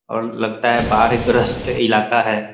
और लगता है बाहर एक ग्रस्त इलाका है ।